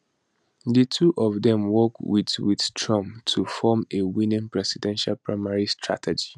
di two of dem work wit wit trump to form a winning presidential primary strategy